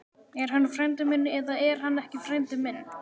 Er hann frændi minn eða er hann ekki frændi minn?